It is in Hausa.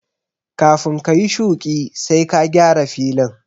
Kafin ka yi shuƙi sai ka gyara filin